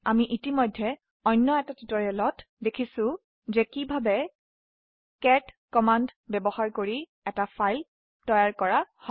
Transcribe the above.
আমি ইতিমধ্যেই অন্য এটা টিউটোৰিয়েলত দেখিছো যে কিভাবে কেট কমান্ড ব্যবহাৰ কৰা এটা ফাইল তৈয়াৰ হয়